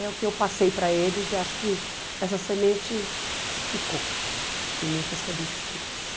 É o que eu passei para eles e acho que essa semente ficou em muitas cabecinhas.